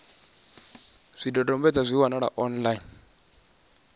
zwidodombedzwa zwi a wanalea online